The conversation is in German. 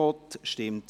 / Abstentions